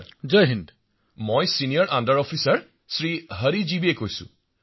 শ্ৰী হৰি জি বিঃ মই senior under officer Shri Hari ji বিয়ে কৈ আছো